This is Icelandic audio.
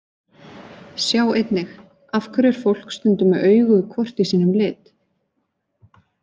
Sjá einnig: Af hverju er fólk stundum með augu hvort í sínum lit?